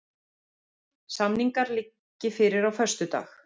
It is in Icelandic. Samningar liggi fyrir á föstudag